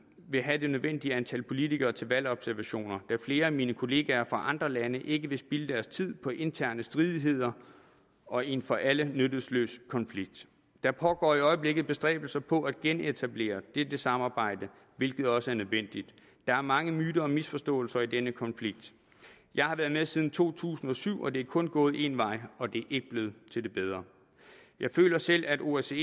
vil have det nødvendige antal politikere til valgobservationer da flere af mine kolleger fra andre lande ikke vil spilde deres tid på interne stridigheder og en for alle nytteløs konflikt der pågår i øjeblikket bestræbelser på at genetablere dette samarbejde hvilket også er nødvendigt der er mange myter og misforståelser i denne konflikt jeg har været med siden to tusind og syv og det er kun gået en vej og det er ikke til det bedre jeg føler selv at osce